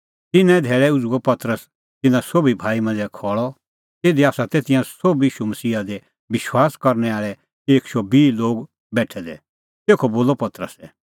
तिन्नां ई धैल़ै उझ़ुअ पतरस तिन्नां सोभी भाई मांझ़ै खल़अ तिधी तै तिंयां सोभ ईशू मसीहा दी विश्वास करनै आल़ै एक शौ बिह लोग बेठै दै तेखअ बोलअ पतरसै